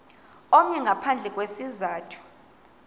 omnye ngaphandle kwesizathu